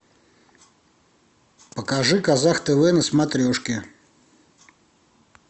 покажи казах тв на смотрешке